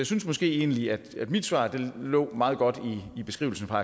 synes måske egentlig at mit svar lå meget godt i beskrivelsen fra